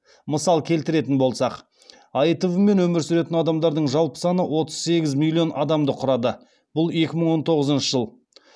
мысал келтіретін болсақ аитв мен өмір сүретін адамдардың жалпы саны отыз сегіз миллион адамды құрады